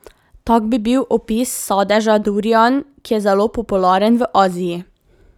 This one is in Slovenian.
Tak bi bil opis sadeža durian, ki je zelo popularen v Aziji.